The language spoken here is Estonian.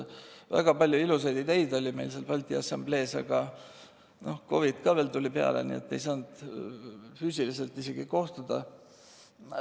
Väga palju ilusaid ideid oli meil Balti Assamblees, aga COVID ka veel tuli peale, nii et me ei saanud füüsiliselt isegi kohtuda.